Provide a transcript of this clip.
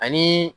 Ani